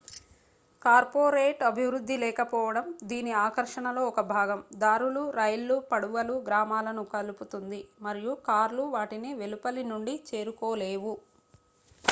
corporate అభివృద్ధి లేకపోవడం దీని ఆకర్షణలో ఒక భాగం దారులు రైళ్లు పడవలు గ్రామాలను కలుపుతుంది మరియు కార్లు వాటిని వెలుపలి నుండి చేరుకోలేవు